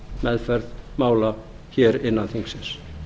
meðferð mála hér innan þingsins